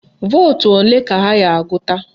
Vootu ole ka ha ga-agụta?